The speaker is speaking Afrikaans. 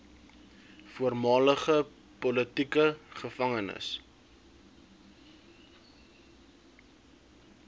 voormalige politieke gevangenes